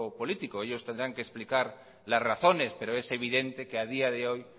político ellos tendrán que explicar las razones pero es evidente que a día de hoy